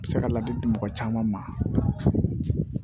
Se ka ladili di mɔgɔ caman ma